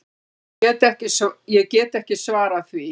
Ég get ekki svarað því.